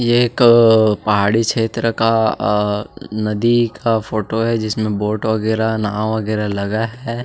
ये एक पहाड़ी क्षेत्र का अ नदी का फोटो है जिसमे बोट वगेरा नाव वगेरा लगा है।